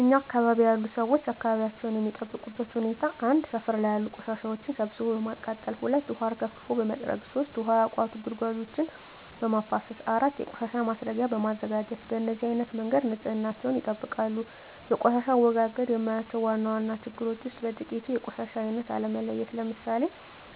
እኛ አካባቢ ያሉ ሠዎች አካባቢያቸውን የሚጠብቁበት ሁኔታ 1. ሠፈር ላይ ያሉ ቆሻሻዎችን ሠብስቦ በማቃጠል 2. ውሀ አርከፍክፎ በመጥረግ 3. ውሀ ያቋቱ ጉድጓዶችን በማፋሠስ 4. የቆሻሻ ማስረጊያ በማዘጋጀት በነዚህ አይነት መንገድ ንፅህናቸውን ይጠብቃሉ። በቆሻሻ አወጋገድ የማያቸው ዋና ዋና ችግሮች ውስጥ በጥቂቱ 1. የቆሻሻ አይነት አለመለየት ለምሣሌ፦